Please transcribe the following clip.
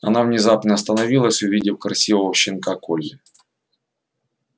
она внезапно остановилась увидев красивого щенка колли